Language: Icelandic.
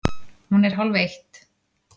Hún er hálfeitt!